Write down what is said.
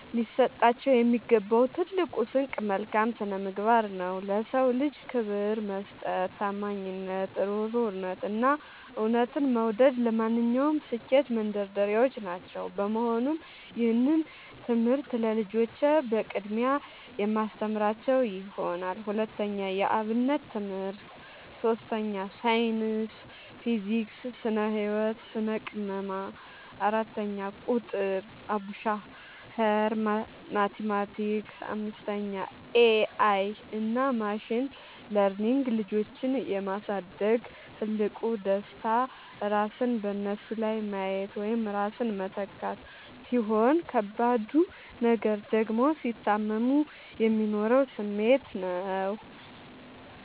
ሊሰጣቸው የሚገባው ትልቁ ስንቅ መልካም ስነምግባር ነው። ለ ሰው ልጅ ክብር መስጠት፣ ታማኝነት፣ እሩህሩህነት፣ እና እውነትን መውደድ ለማንኛውም ስኬት መንደርደሪያዎች ናቸው። በመሆኑም ይህንን ትምህርት ለልጆቼ በቅድሚያ የማስተምራቸው ይሆናል። 2. የ አብነት ትምህርት 3. ሳይንስ (ፊዚክስ፣ ስነ - ህወት፣ ስነ - ቅመማ) 4. ቁጥር ( አቡሻኽር፣ ማቲማቲክስ ...) 5. ኤ አይ እና ማሽን ለርኒንግ ልጆችን የ ማሳደግ ትልቁ ደስታ ራስን በነሱ ላይ ማየት ወይም ራስን መተካት፣ ሲሆን ከባዱ ነገር ደግሞ ሲታመሙ የሚኖረው ስሜት ነው።